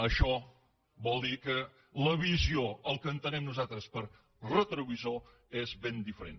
això vol dir que la visió el que entenem nosaltres per retrovisor és ben diferent